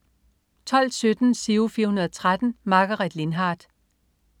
12.17 Giro 413. Margaret Lindhardt